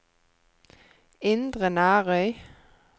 Indre Nærøy